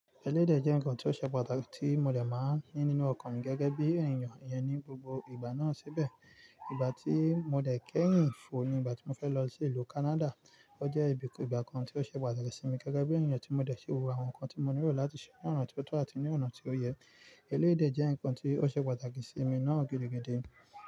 Eléyii de jẹ́ ǹkan tó ṣe pàtàkì tí mo dè máa ní nínú ọkàn mi gẹ́gẹ́ bí ènìyàn iyẹn ní gbogbo ìgbà náà sibẹ̀. Ìgbà tí mo dè kẹ́yìn fò ni ìgbà tí mo fẹ́ lọ sí ìlú Kánádà. Ó jẹ́ ibi ìgbà kan ti o ṣe pàtàkì sí mi gẹ́gẹ́ bí ènìyàn tí mo dẹ̀ fi wo àwọn ǹkan tí mo nílò láti ṣe ni ona ti o tọ́ àti ní ọ̀nà tí ó yẹ. Eléyii de jẹ́ ǹkan tí ó ṣe pàtàkì sí mi náà gidigidi.